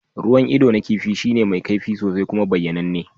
Ruwan ido na kifi shine mai kaifi sosai kuma bayyananne.